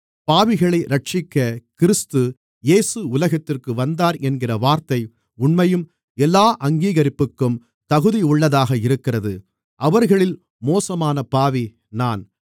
பாவிகளை இரட்சிக்க கிறிஸ்து இயேசு உலகத்திற்கு வந்தார் என்கிற வார்த்தை உண்மையும் எல்லா அங்கீகரிப்புக்கும் தகுதியுள்ளதாக இருக்கிறது அவர்களில் மோசமான பாவி நான்